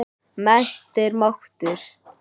Mennt er máttur.